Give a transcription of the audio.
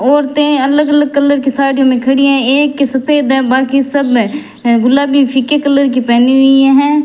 औरतें अलग अलग कलर की साड़ीयो में खड़ी है एक के सफेद है बाकी सब गुलाबी फीके कलर की पहनी हुई हैं।